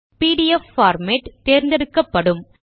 PDF format தேர்ந்தெடுக்கப்படும்